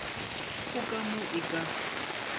go ka mo e ka